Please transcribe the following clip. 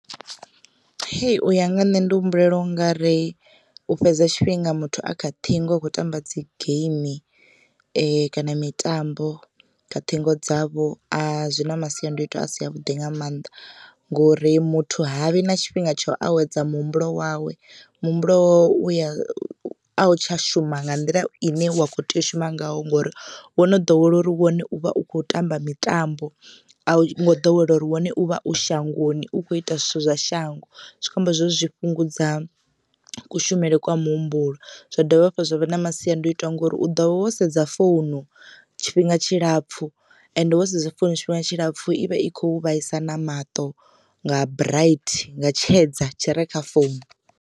Hei uya nga nne ndi humbulela u nga ri u fhedza tshifhinga muthu a kha ṱhingo a khou tamba dzi geimi kana mitambo kha ṱhingo dzavho zwi na masiandoitwa a si a vhuḓi nga mannḓa, ngori muthu havhi na tshifhinga tsho awedza muhumbulo wawe muhumbulo wawe uya a u tsha shuma nga nḓila ine wa kho tea u shuma ngayo ngori wo no ḓowela uri wone u vha u kho tamba mitambo a u ngo ḓowela uri wone u vha u shangoni u kho ita zwithu zwa shango. Zwikho amba zwori zwi fhungudza kushumele kwa muhumbulo zwa dovha hafhu zwa vha na masiandoitwa ngori u ḓovha wo sedza founu tshifhinga tshilapfu ende wo sedza founu tshifhinga tshilapfu ivha i khou vhaisa na maṱo nga bright nga tshedza tshi re kha founu.